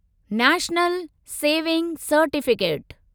national saving certificate